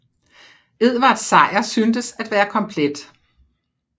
Edvards sejr syntes at være komplet